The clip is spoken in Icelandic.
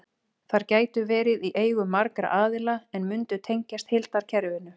Þær gætu verið í eigu margra aðila en mundu tengjast heildarkerfinu.